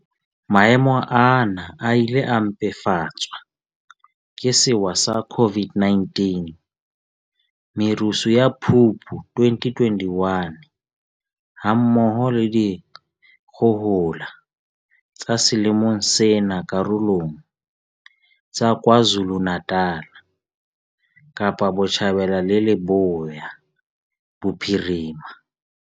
Maemo ana a ile a mpefatswa ke sewa sa COVID-19, merusu ya Phupu 2021, ha mmoho le dikgohola tsa selemong sena karolong tsa KwaZulu-Natal, Kapa Botjhabela le Leboya Bophirima.